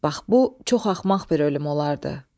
Bax bu çox axmaq bir ölüm olardı.